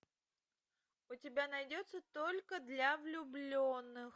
у тебя найдется только для влюбленных